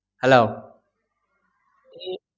hello